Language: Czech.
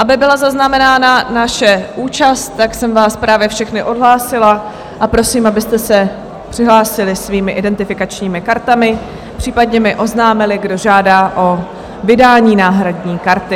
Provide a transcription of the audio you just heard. Aby byla zaznamenána naše účast, tak jsem vás právě všechny odhlásila a prosím, abyste se přihlásili svými identifikačními kartami, případně mi oznámili, kdo žádá o vydání náhradní karty.